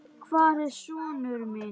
Hvar er sonur minn?